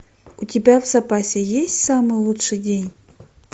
у тебя в запасе есть самый лучший день